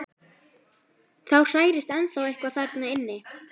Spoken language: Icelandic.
Það hrærist ennþá eitthvað þarna inni.